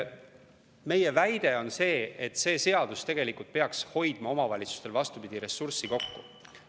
Meie väide on see, et see seadus tegelikult peaks omavalitsustel, vastupidi, ressurssi kokku hoida.